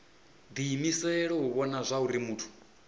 diimisela u vhona zwauri muthu